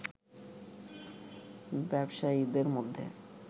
ব্যবসায়ীদের মধ্যে